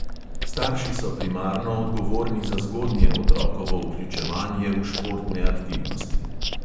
Starši so primarno odgovorni za zgodnje otrokovo vključevanje v športne aktivnosti!